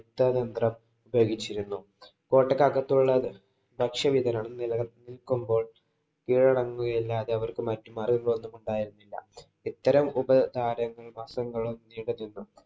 യുദ്ധതന്ത്രം ഉപയോഗിച്ചിരുന്നു. കോട്ടയ്ക്കകത്തുള്ള ഭക്ഷ്യ വിതരണം നില നില്‍ നില്‍ക്കുമ്പോള്‍ കീഴടങ്ങുകയല്ലാതെ അവര്‍ക്ക് മറ്റു മാര്‍ഗ്ഗങ്ങളൊന്നുമുണ്ടായിരുന്നില്ല. ഇത്തരം